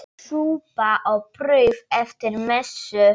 Súpa og brauð eftir messu.